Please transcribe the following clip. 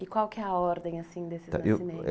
E qual que é a ordem, assim, desses nascimentos?